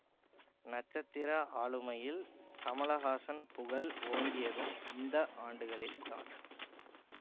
நட்சத்திர ஆளுமையில் கமலஹாசன் புகழ் ஓங்கியதும் இந்த ஆண்டுகளில்தான்